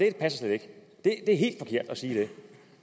ikke passer at det er helt forkert at sige det